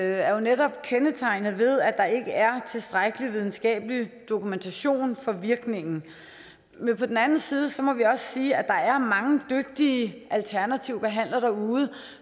er jo netop kendetegnet ved at der ikke er tilstrækkelig videnskabelig dokumentation for virkningen på den anden side må vi også sige at der er mange dygtige alternative behandlere derude